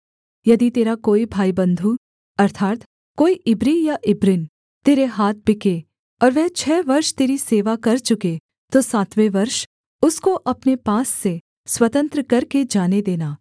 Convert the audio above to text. यदि तेरा कोई भाईबन्धु अर्थात् कोई इब्री या इब्रिन तेरे हाथ बिके और वह छः वर्ष तेरी सेवा कर चुके तो सातवें वर्ष उसको अपने पास से स्वतंत्र करके जाने देना